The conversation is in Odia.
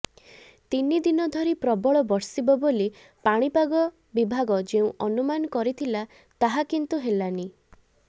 ତିନି ଦିନ ଧରି ପ୍ରବଳ ବର୍ଷିବ ବୋଲି ପାଣିପାଗ ବିଭାଗ ଯେଉଁ ଅନୁମାନ କରିଥିଲା ତାହା କିନ୍ତୁ ହେଲାନି